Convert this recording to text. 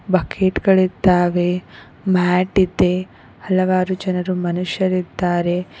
Bucket ಗಳಿದ್ದಾವೆ mat ಇದೆ ಹಲವಾರು ಜನರು ಮನುಷ್ಯರಿದ್ದಾರೆ.